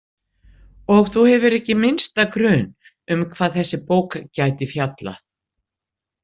Og þú hefur ekki minnsta grun um hvað þessi bók gæti fjallað?